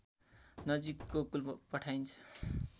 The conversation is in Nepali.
नजिक गोकुल पठाइन्छ